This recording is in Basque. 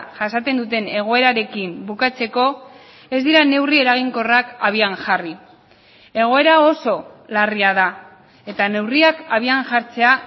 jasaten duten egoerarekin bukatzeko ez dira neurri eraginkorrak abian jarri egoera oso larria da eta neurriak abian jartzea